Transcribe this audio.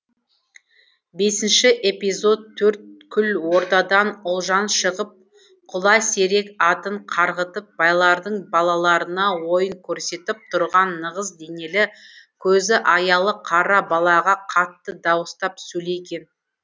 бесінші эпизод төрткүл ордадан ұлжан шығып құласерек атын қарғытып байлардың балаларына ойын көрсетіп тұрған нығыз денелі көзі аялы қара балаға қатты дауыстап сөйлеген